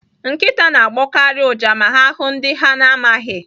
Nkịta na-agbọkarị ụja ma ha hụụ ndị ha na-amaghị.